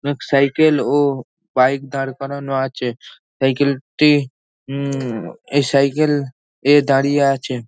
অনেক সাইকেল ও বাইক দাঁড় করানো আছে। সাইকেল -টি ঊম এই সাইকেল এ দাঁড়িয়ে আছে।